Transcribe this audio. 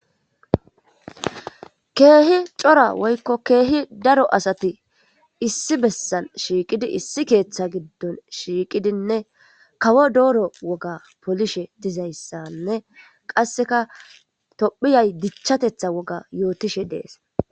keehi cora woykko keehi daro asati issi bessan shiiqidi issi keeththa giddon shiiqidinne kawo dooro woga polishe dizayssanne qasseka tophiyay dichchatetha woga yootishe de'es